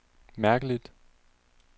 mærkeligt